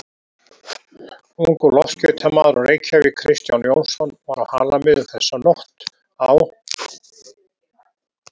Ungur loftskeytamaður úr Reykjavík, Kristján Jónsson, var á Halamiðum þessa nótt á